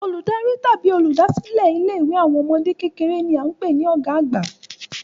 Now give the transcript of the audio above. Olùdarí tàbí oluda silẹ ilé ìwé àwọn ọmọdé kékeré ni a n pé ni ọ̀gá àgbà